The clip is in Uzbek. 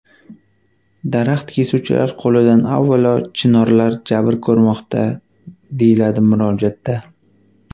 Daraxt kesuvchilar qo‘lidan avvalo chinorlar jabr ko‘rmoqda”, deyiladi murojaatda.